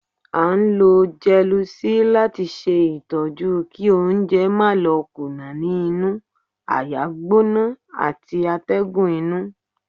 À ń ló Gelusil lati ṣe itọju kí oúnjẹ má lò kùnà ní inú, àáyá gbóná ati atégùn inu.